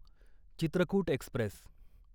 Chitrakoot Express